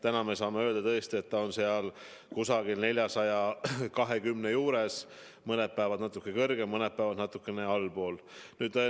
Täna me saame tõesti öelda, et see näitaja on 420 ringis, mõned päevad natuke suurem, mõned päevad natukene väiksem.